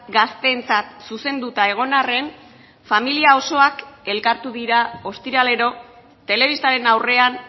gazteentzat zuzenduta egon arren familia osoak elkartu dira ostiralero telebistaren aurrean